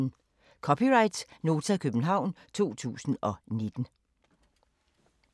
(c) Nota, København 2019